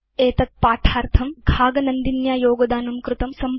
एतद्पाठार्थं घाग नन्दिन्या योगदानं कृतम्